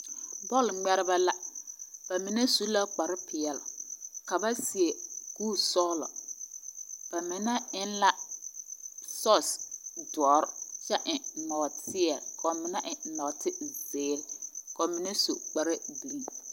Bɔlgmɛrebɛ la are ka ba mine su kparepeɛle kyɛ seɛ kpuresɔglɔ. Ba mine eŋla sɔɔsi dɔre ane nɔɔteɛ. Kaŋa eŋɛɛ nɔɔteziire. Ba mine su la kparegireŋ